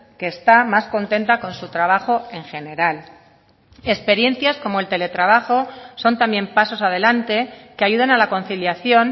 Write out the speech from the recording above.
que está más contenta con su trabajo en general experiencias como el teletrabajo son también pasos adelante que ayudan a la conciliación